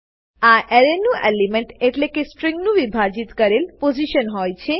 આ એરેનું એલિમેન્ટ એટલેકે સ્ટ્રીંગ નું વિભાજીત કરેલ પોઝીશન હોય છે